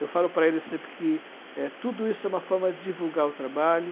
Eu falo para eles sempre que, eh, tudo isso é uma forma de divulgar o trabalho.